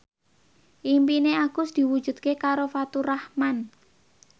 impine Agus diwujudke karo Faturrahman